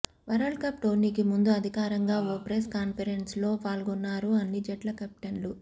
world cup టోర్నీకి ముందు అధికారంగా ఓ ప్రెస్ కాన్ఫిరెన్స్లో పాల్గొన్నారు అన్ని జట్ల కెప్టెన్లు